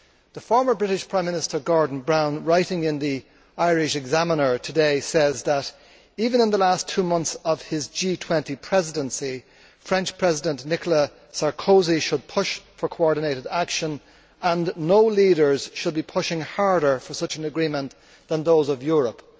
The former British Prime Minister, Gordon Brown, writing in the today, says that even in the last two months of his G 20 Presidency, French President Nicholas Sarkozy should push for coordinated action and no leaders should be pushing harder for such an agreement than those of Europe.